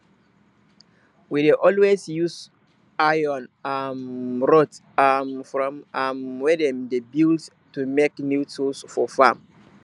we dey always use iron um rods um from um wey dem dey build to make new tools for farm